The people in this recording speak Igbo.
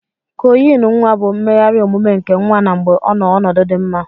Cọọyin nwa bu mmeghari omume nke nwa na mgbe ọnọ ọnọdu di mma.